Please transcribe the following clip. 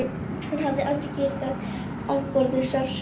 Hann hafði aldrei getað afborið sársauka.